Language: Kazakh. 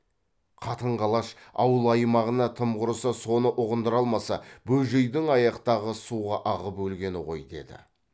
қатын қалаш ауыл аймағына тым құрыса соны ұғындыра алмаса бөжейдің аяқтағы суға ағып өлгені ғой деді